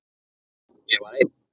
Ég var ein.